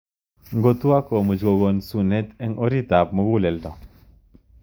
Ngotuok ko much kokon sunet ing orit ap muguleldo.